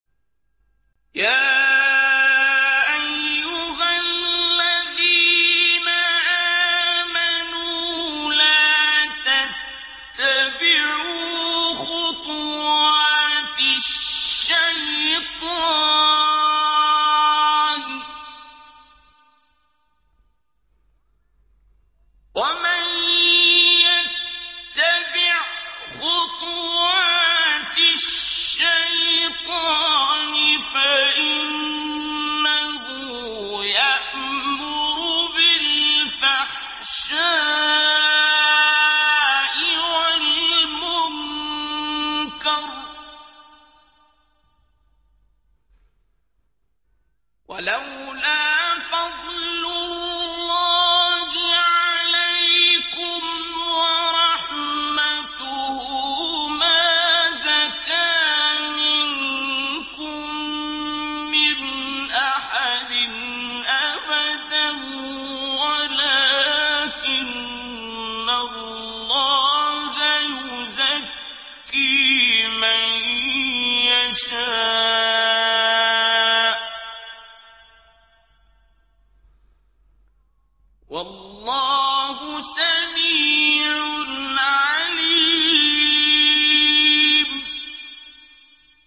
۞ يَا أَيُّهَا الَّذِينَ آمَنُوا لَا تَتَّبِعُوا خُطُوَاتِ الشَّيْطَانِ ۚ وَمَن يَتَّبِعْ خُطُوَاتِ الشَّيْطَانِ فَإِنَّهُ يَأْمُرُ بِالْفَحْشَاءِ وَالْمُنكَرِ ۚ وَلَوْلَا فَضْلُ اللَّهِ عَلَيْكُمْ وَرَحْمَتُهُ مَا زَكَىٰ مِنكُم مِّنْ أَحَدٍ أَبَدًا وَلَٰكِنَّ اللَّهَ يُزَكِّي مَن يَشَاءُ ۗ وَاللَّهُ سَمِيعٌ عَلِيمٌ